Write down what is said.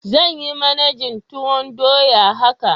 Zan yi managin tuwoydoya haka.